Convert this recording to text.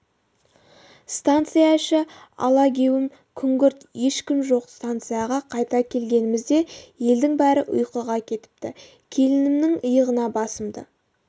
станция іші алагеуім күңгірт ешкім жоқ станцияға қайта келгенімізде елдің бәрі ұйқыға кетіпті келінімнің иығына басымды